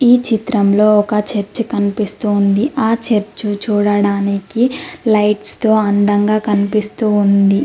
ఈ చిత్రంలో ఒక చర్చ్ కనిపిస్తోంది ఆ చర్చు చూడడానికి లైట్స్ తో అందంగా కనిపిస్తూ ఉంది.